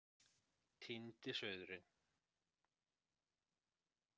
Týndi sauðurinn